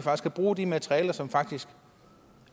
at bruge de materialer som faktisk